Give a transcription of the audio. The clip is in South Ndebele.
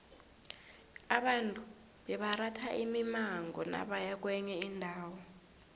abantu bebaratha imimango nabaya kwenye indawo